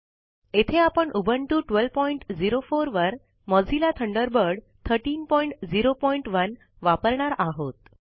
येथे आपण उबुंटू 1204 वर मोझिल्ला थंडरबर्ड 1301 वापरणार आहोत